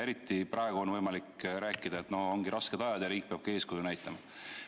Eriti praegu on võimalik seda rääkida, ongi rasked ajad ja riik peabki eeskuju näitama.